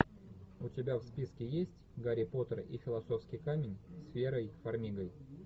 у тебя в списке есть гарри поттер и философский камень с верой фармигой